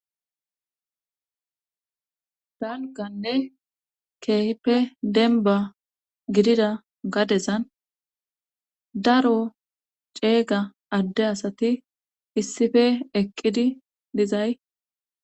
Halkanne keehippe denba gidida gadezan daro ceega adde asati issife eqqidi dizay